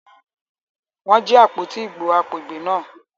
Wọ́n jí àpótí ìbò agbègbè náà.